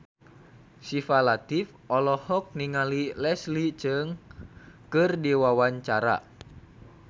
Syifa Latief olohok ningali Leslie Cheung keur diwawancara